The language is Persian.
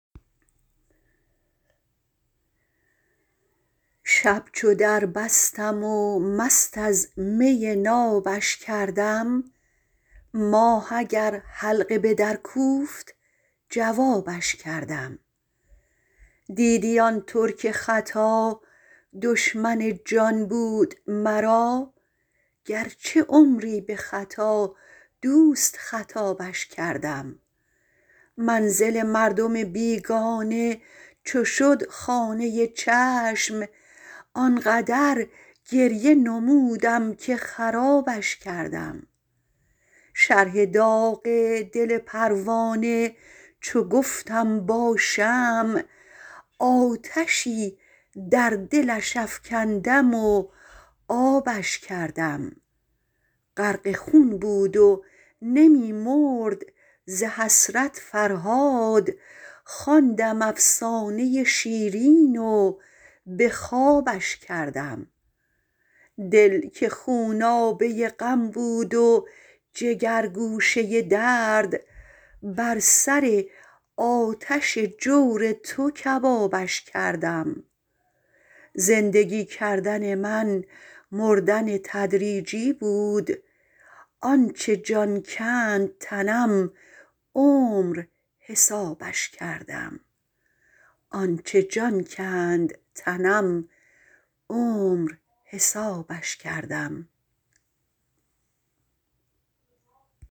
شب چو در بستم و مست از می نابش کردم ماه اگر حلقه به در کوفت جوابش کردم دیدی آن ترک ختا دشمن جان بود مرا گرچه عمری به خطا دوست خطابش کردم منزل مردم بیگانه چو شد خانه چشم آنقدر گریه نمودم که خرابش کردم شرح داغ دل پروانه چو گفتم با شمع آتشی در دلش افکندم و آبش کردم غرق خون بود و نمی مرد ز حسرت فرهاد خواندم افسانه شیرین و به خوابش کردم دل که خونابه غم بود و جگرگوشه درد بر سر آتش جور تو کبابش کردم زندگی کردن من مردن تدریجی بود آنچه جان کند تنم عمر حسابش کردم